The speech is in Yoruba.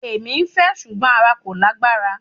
Ẹ̀mí fẹ́ ṣùgbọ́n ara kò lágbára.